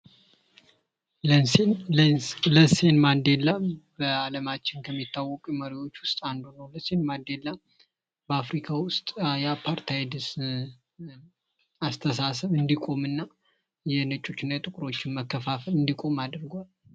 ኔልሰን ማንዴላ አፍሪካ ውስጥ ከሚታወቁ መሪዎች መካከል አንዱ ሲሆን በአፍሪካ ውስጥም እያፓርታይድ አስተሳሰብ እንዲቆምና የነጮችና የጥቁሮች መካከል መከፋፈል እንዲቆም አድርጓል፡፡